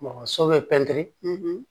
so bɛ pɛntiri